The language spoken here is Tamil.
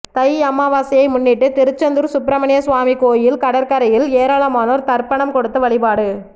தை அமாவாசையை முன்னிட்டு திருச்செந்தூர் சுப்பிரமணிய சுவாமி கோவில் கடற்கரையில் ஏராளமானோர் தர்ப்பனம் கொடுத்து வழிபாடு